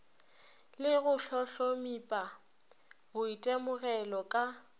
le go hlohlomipa boitemogelo ka